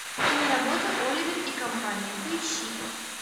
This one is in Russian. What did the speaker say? киноработа оливер и компания поищи